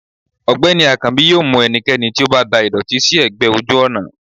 ọgbẹni akanbi yóò mú ẹnikẹni tí o ba dà ìdòtí si egbè ojú ònà